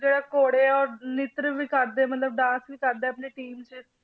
ਜਿਹੜਾ ਘੋੜੇ ਔਰ ਨ੍ਰਿਤ ਵੀ ਕਰਦੇ ਆ ਮਤਲਬ dance ਵੀ ਕਰਦੇ ਆ ਆਪਣੀ team 'ਚ